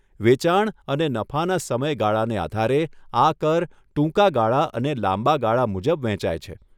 વેચાણ અને નફાના સમય ગાળાને આધારે, આ કર ટૂંકા ગાળા અને લાંબા ગાળા મુજબ વહેંચાય છે.